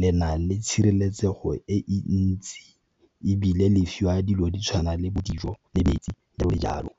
le na le tshireletsego e ntsi ebile le fiwa dilo di tshwana le bo dijo le metsi jalo le jalo.